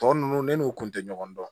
Tɔ ninnu ne n'u kun tɛ ɲɔgɔn dɔn